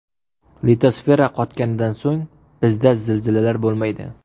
Litosfera qotganidan so‘ng bizda zilzilalar bo‘lmaydi.